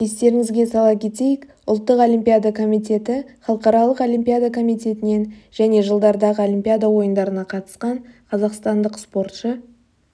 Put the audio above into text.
естеріңізге сала кетейік ұлттық олимпиада комитеті халықаралық олимпиада комитетінен және жылдардағы олимпиада ойындарына қатысқан қазақстандық спортшы